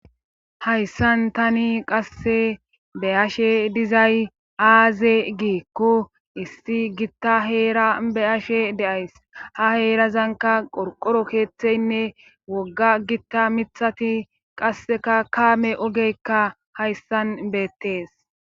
Hayssan tani qasse be ashe dizay aaze giikko issi gitta heera be ashe deays ha heerazanka qorqoro keeththeynne wogga gitta mithati qasseka kaame ogeykka hayssan beettees.